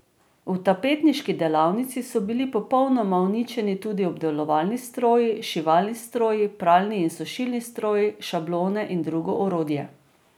V tapetniški delavnici so bili popolnoma uničeni tudi obdelovalni stroji, šivalni stroji, pralni in sušilni stroji, šablone in drugo orodje.